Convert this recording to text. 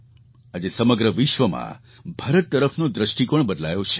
આજે સમગ્ર વિશ્વમાં ભારત તરફનો દૃષ્ટિકોણ બદલાયો છે